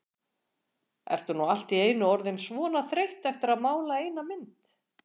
Ertu nú allt í einu orðin svona þreytt eftir að mála eina mynd?